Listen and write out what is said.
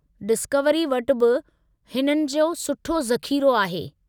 Discovery वटि बि हिननि जो सुठो ज़ख़ीरो आहे।